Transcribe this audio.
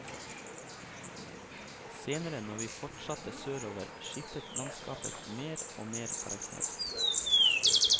Senere når vi fortsatte sørover skiftet landskapet mer og mer karakter.